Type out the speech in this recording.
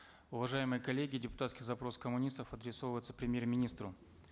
уважаемые коллеги депутатский запрос коммунистов премьер министру